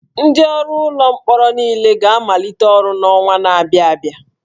Ndị ọrụ ụlọ mkpọrọ niile ga-amalite ọrụ n'ọnwa na-abịa